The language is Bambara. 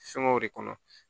Fɛngɛw de kɔnɔ